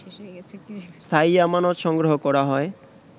স্থায়ী আমানত সংগ্রহ করা হয়